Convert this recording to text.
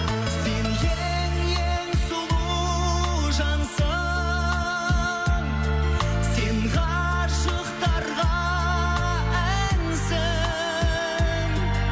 сен ең ең сұлу жансың сен ғашықтарға әнсің